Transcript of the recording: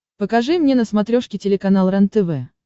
покажи мне на смотрешке телеканал рентв